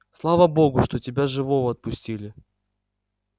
слава богу что тебя живого отпустили